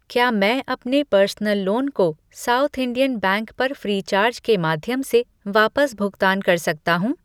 क्या मैं अपने पर्सनल लोन को सॉउथ इंडियन बैंक पर फ़्रीचार्ज के माध्यम से वापस भुगतान कर सकता हूँ?